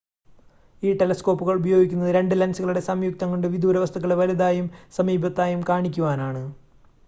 ഈ ടെലസ്കോപ്പുകൾ ഉപയോഗിക്കുന്നത് 2 ലെൻസുകളുടെ സംയുക്തം കൊണ്ട് വിദൂരവസ്തുക്കളെ വലുതായും സമീപത്തായും കാണിക്കുവാനാണ്